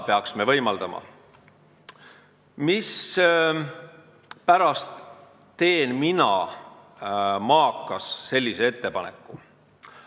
Mispärast teen mina, maakas, sellise ettepaneku?